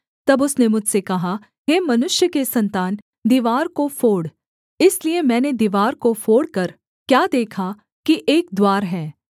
तब उसने मुझसे कहा हे मनुष्य के सन्तान दीवार को फोड़ इसलिए मैंने दीवार को फोड़कर क्या देखा कि एक द्वार है